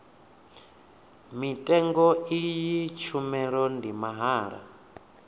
mutengo iyi tshumelo ndi mahala